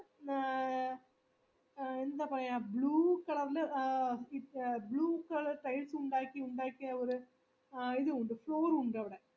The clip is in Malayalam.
മ്മ് എ എന്താ പറയാ blue colour ല് ഈ blue colour ഉണ്ടാക്കി ഉണ്ടാക്കി അവിട ഇത് ഉണ്ട് floor ഉണ്ട് അവിടെ